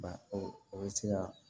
Ba o bɛ se ka